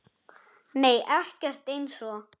Nei ekkert eins og